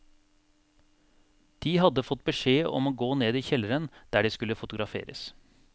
De hadde fått beskjed om å gå ned i kjelleren der de skulle fotograferes.